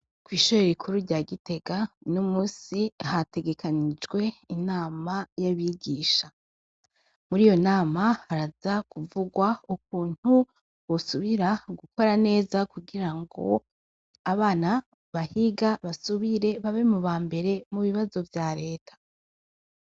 Kw'ishori rikuru rya gitega n'umusi hategekanijwe inama y'abigisha muri iyo nama haraza kuvugwa ukuntu busubira gukora neza kugira ngo abana bahiga basubire babe mu ba mbere mu bibazo vya leta.